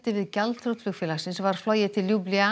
við gjaldþrot flugfélagsins var flogið til